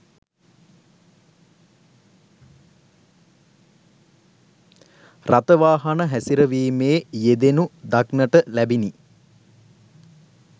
රථ වාහන හැසිරවීමේ යෙදෙනු දක්නට ලැබිණි.